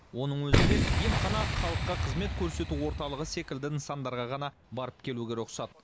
оның өзінде емхана халыққа қызмет көрсету орталығы секілді нысандарға ғана барып келуге рұқсат